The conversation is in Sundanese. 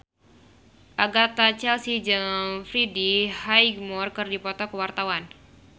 Agatha Chelsea jeung Freddie Highmore keur dipoto ku wartawan